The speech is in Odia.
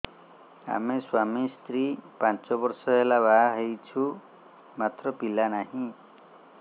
ଆମେ ସ୍ୱାମୀ ସ୍ତ୍ରୀ ପାଞ୍ଚ ବର୍ଷ ହେଲା ବାହା ହେଇଛୁ ମାତ୍ର ପିଲା ନାହିଁ